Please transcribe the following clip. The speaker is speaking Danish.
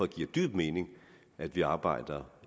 dyb mening at vi arbejder